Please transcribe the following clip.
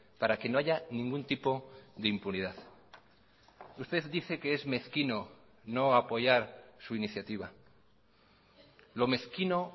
para que no haya ningún tipo de impunidad usted dice que es mezquino no apoyar su iniciativa lo mezquino